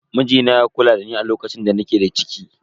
Mijina ya kula dani a lokacin da nake da ciki.